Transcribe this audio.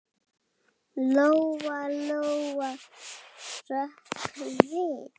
Lóa-Lóa hrökk við.